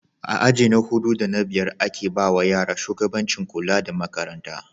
A aji na hudu da na biyar ake bawa yara shugabancin kula da Makaranta